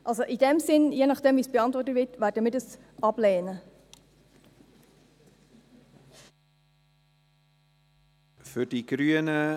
In diesem Sinn, je nachdem, wie das beantwortet wird, werden wir dies ablehnen.